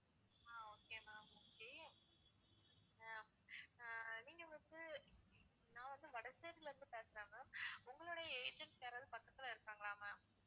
ஆஹ் okay ma'am okay ah ah நீங்க வந்து நான் வந்து வடசேரில இருந்து பேசுறேன் ma'am உங்களுடைய agents யாராவது பக்கத்துல இருக்காங்களா ma'am